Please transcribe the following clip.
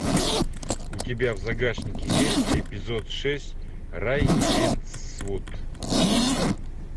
у тебя в загашнике есть эпизод шесть рейвенсвуд